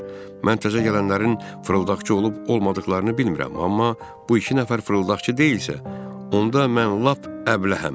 mən təzə gələnlərin fırıldaqçı olub, olmadıqlarını bilmirəm, amma bu iki nəfər fırıldaqçı deyilsə, onda mən lap əbləhəm.